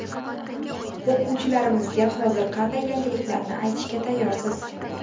O‘quvchilarimizga hozir qanday yangiliklarni aytishga tayyorsiz?